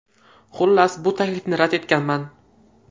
Xullas, bu taklifni rad etganman.